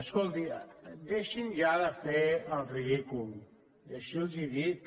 escolti deixin ja de fer el ridícul així els ho dic